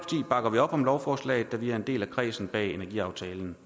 bakker vi op om lovforslaget da vi er en del af kredsen bag energiaftalen